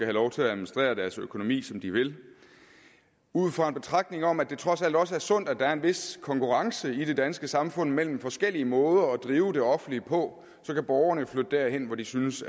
lov til at administrere deres økonomi som de vil ud fra en betragtning om at det trods alt også er sundt at der er en vis konkurrence i det danske samfund mellem forskellige måder at drive det offentlige på så kan borgerne jo flytte derhen hvor de synes